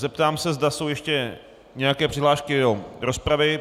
Zeptám se, zda jsou ještě nějaké přihlášky do rozpravy.